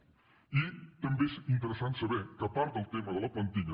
i també és interessant saber que part del tema de la plantilla